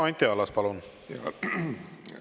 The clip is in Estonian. Ja Anti Allas, palun!